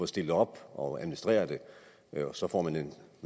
stillet op og administrerer det så får man nogle